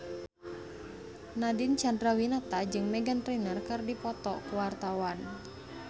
Nadine Chandrawinata jeung Meghan Trainor keur dipoto ku wartawan